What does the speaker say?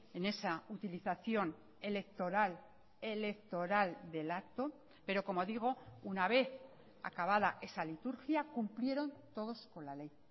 en esa utilización electoral electoral del acto pero como digo una vez acabada esa liturgia cumplieron todos con la ley